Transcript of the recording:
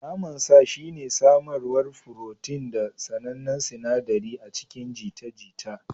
Naman sa shine samarwar furotin da sanannen sinaɗari a cikin jita-jita.